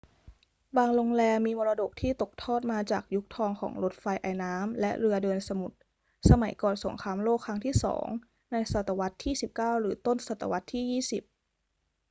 บางโรงแรมมีมรดกที่ตกทอดมาจากยุคทองของรถไฟไอน้ำและเรือเดินสมุทร สมัยก่อนสงครามโลกครั้งที่สองในศตวรรษที่ 19 หรือต้นศตวรรษที่ 20